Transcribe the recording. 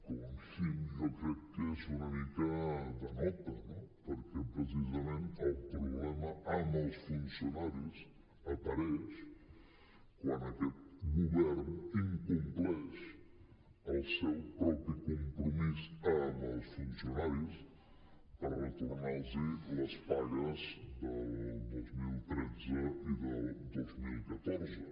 home com a mínim jo crec que és una mica de nota no perquè precisament el problema amb els funcionaris apareix quan aquest govern incompleix el seu propi compromís amb els funcionaris per retornar los les pagues del dos mil tretze i del dos mil catorze